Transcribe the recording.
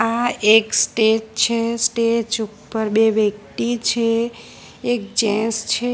આ એક સ્ટેજ છે સ્ટેજ ઉપર બે વ્યક્તિ છે એક જેન્સ છે.